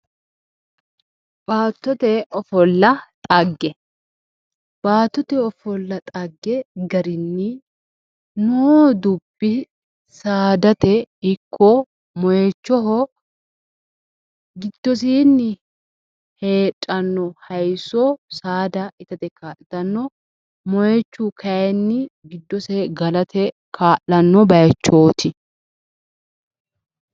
Baattote ofolla dhagge. Baattote ofolla dhagge garinni noo dubbi saadate ikko moyichoho giddosiinni heedhanno hayisso saada itate kaa'litanno. Moyichu kayinni giddose galate kaa'lanno bayichooti.